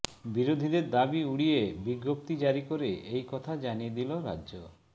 বিরোধীদের দাবি উড়িয়ে বিজ্ঞপ্তি জারি করে এই কথা জানিয়ে দিল রাজ্য